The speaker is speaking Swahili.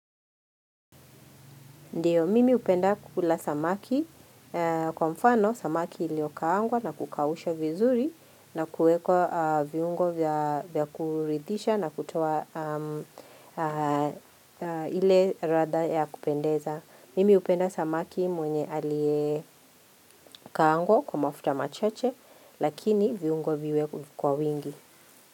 Ndiyo, mimi hupenda kukula samaki kwa mfano samaki iliokaangwa na kukawusha vizuri na kueko viungo vya kuridisha na kutowa ile ratha ya kupendeza. Mimi upenda samaki mwenye alikaangwa kwa mafuta machache lakini viungo viwe kwa wingi.